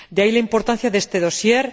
De ahí la importancia de este dossier.